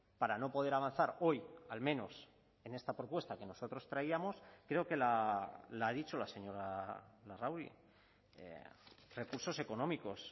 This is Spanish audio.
para no poder avanzar hoy al menos en esta propuesta que nosotros traíamos creo que la ha dicho la señora larrauri recursos económicos